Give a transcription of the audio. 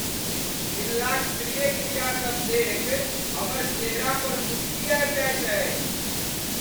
पिल्लाक प्रिय क्रियासभ देखि हमर चेहरा पर मुसुकी आबि जायत अछि।